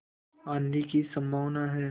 आँधी की संभावना है